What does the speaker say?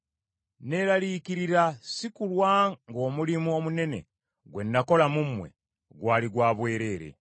neeraliikirira si kulwa ng’omulimu omunene gwe nakola mu mmwe gwali gwa bwereere.